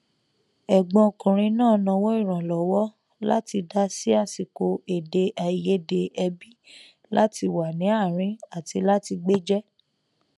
ẹgbọn ọkùnrin náà nawọ ìrànlọwọ láti dá sí àsìkò èdè àìyedè ẹbí láti wà ní àárín àti láti gbéjẹ